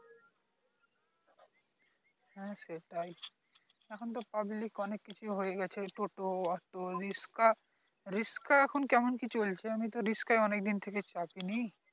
হ্যাঁ হ্যাঁ এখন তো অনেক কিছু হয়ে গেছে টোটো আটো তো রিক্সা, রিক্সা কেমন কি চলছে আমি তো অনেক দিন থেকে চাপিনি